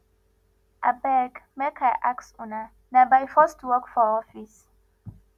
abeg make i ask una na by force to work for office